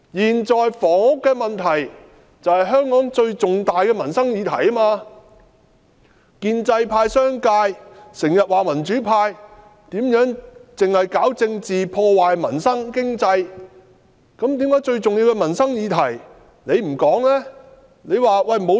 現在房屋的問題是香港最重大的民生議題，建制派和商界經常說民主派只搞政治，破壞民生和經濟，為何最重要的民生議題你們卻不說呢？